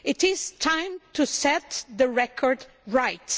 It is time to set the record right